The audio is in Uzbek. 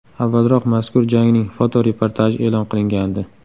Avvalroq mazkur jangning fotoreportaji e’lon qilingandi .